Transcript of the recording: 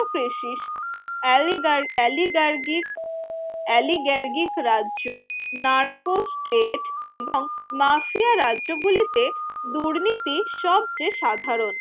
precis আওয়ে oligarchic oligarchic রাজ্য নারকো state এবং মাফিয়া রাজ্যগুলিতে দুর্নীতি সবচেয়ে সাধারণ